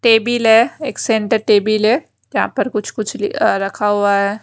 Table है एक centre table है यहां पर कुछ कुछ लि अ रखा हुआ है।